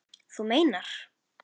Þú meinar.